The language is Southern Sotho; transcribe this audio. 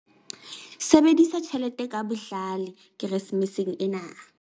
Sebedisa tjhelete ka bohlale Keresemeseng ena